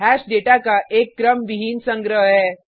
hash data का एक क्रम विहीन संग्रह है